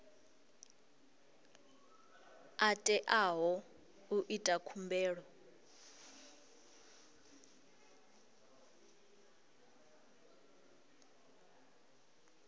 a teaho u ita khumbelo